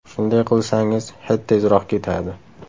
Shunday qilsangiz, hid tezroq ketadi.